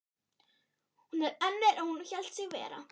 Hún er önnur en hún hélt sig vera.